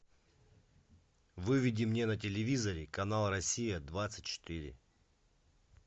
выведи мне на телевизоре канал россия двадцать четыре